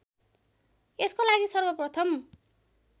यसको लागि सर्वप्रथम